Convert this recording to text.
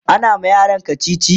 ana ma yaran kachichi